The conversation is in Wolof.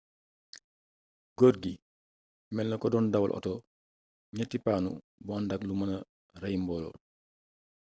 gorgui melna ko don dawal oto ñetti panu bu andak lu mëna rey mboolo